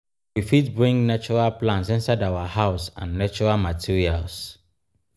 we fit bring natural plants inside our house and natural materials